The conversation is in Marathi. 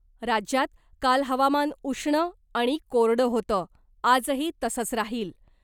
राज्यात काल हवामान उष्ण आणि कोरडं होतं आजही तसंच राहील .